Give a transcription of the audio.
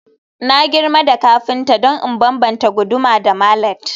Na girma da kafinta don in bambanta guduma da mallet